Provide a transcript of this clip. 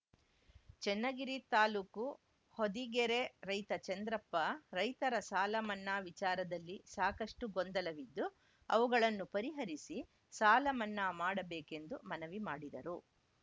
ಚೆನ್ನಗಿರಿ ತಾಲ್ಲೂಕು ಹೊದಿಗೆರೆ ರೈತ ಚಂದ್ರಪ್ಪ ರೈತರ ಸಾಲ ಮನ್ನಾ ವಿಚಾರದಲ್ಲಿ ಸಾಕಷ್ಟುಗೊಂದಲವಿದ್ದು ಅವುಗಳನ್ನು ಪರಿಹರಿಸಿ ಸಾಲ ಮನ್ನಾ ಮಾಡಬೇಕೆಂದು ಮನವಿ ಮಾಡಿದರು